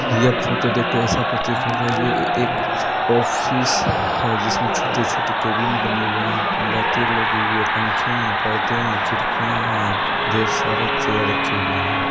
यह फोटो देख के ऐसा प्रतिक हो रहा है यह ए एक ऑफिस है जिसमें छोटे-छोटे केबिन बने हुए हैं लाइटे लगी हुई है पंखे है पर्दे हैं खिड़कियाँ हैं ढेर सारे चेयर रखे हुए है।